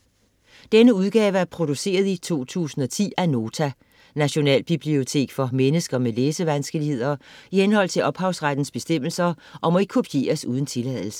Denne udgave er produceret i 2010 af Nota - Nationalbibliotek for mennesker med læsevanskeligheder, i henhold til ophavsrettes bestemmelser, og må ikke kopieres uden tilladelse.